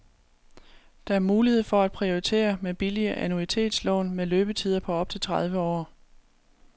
Der er mulighed for at prioritere med billige annuitetslån med løbetider på op til tredive år.